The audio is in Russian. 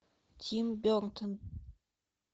тим бертон